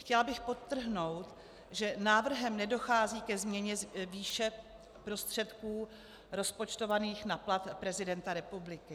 Chtěla bych podtrhnout, že návrhem nedochází ke změně výše prostředků rozpočtovaných na plat prezidenta republiky.